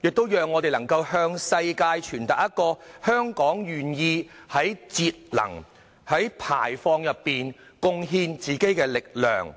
亦能讓我們向世界傳達信息，表達香港願意在節能減排上貢獻力量。